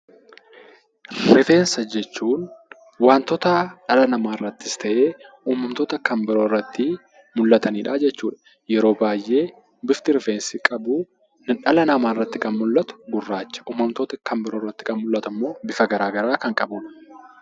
Rifeensa jechuun wantoota dhala namaarrattis ta'ee uumamtoota kan biroo irratti mul'atanidha jechuudha. Yeroo baay'ee bifti rifeensi qabu dhala namaarratti kan mul'atu gurraacha. Uumamtoota kanneen biroorratti kan mul'atu immoo bifa garaagaraa kan qabudha.